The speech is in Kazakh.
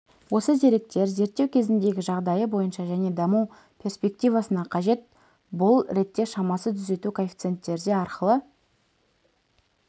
осы деректер зерттеу кезіндегі жағдайы бойынша және даму перспективасына қажет бұл ретте шамасы түзету коэффициенттері арқылы